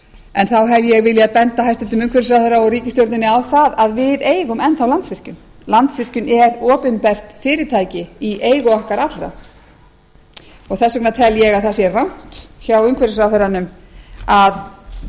en þá hef ég viljað benda hæstvirtur umhverfisráðherra og ríkisstjórninni á það að við eigum enn þá landsvirkjun landsvirkjun er opinbert fyrirtæki í eigu okkar allra þess vegna tel ég að það sé rangt hjá umhverfisráðherranum að